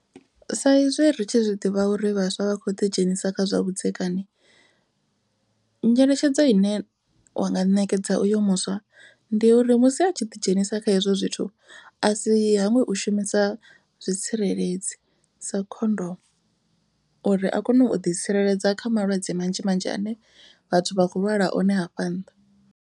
Sa izwi ri tshi zwi ḓivha uri vhaswa vha kho ḓi dzhenisa kha zwa vhudzekani. Nyeletshedzo ine wa nga ṋekedza uyo muswa ndi uri musi a tshi ḓi dzhenisa kha hezwo zwithu. A si hangwe u shumisa zwitsireledzi sa khondomu. Uri a kone u ḓi tsireledza kha malwadze manzhi manzhi ane vhathu vha khou lwala one hafha nnḓa.